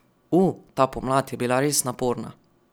U, ta pomlad je bila res naporna.